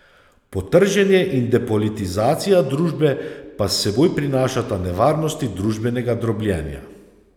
Potrženje in depolitizacija družbe pa s seboj prinašata nevarnosti družbenega drobljenja.